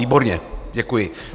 Výborně, děkuji.